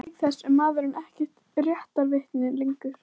Auk þess er maðurinn ekkert réttarvitni lengur.